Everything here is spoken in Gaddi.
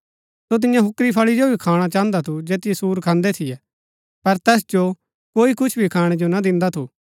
सो तियां हुकुरी फळी जो भी खाणा चाहन्दा थू जैतिओ सूर खान्दै थियै पर तैस जो कोई कुछ भी खाणै जो ना दिन्दा थू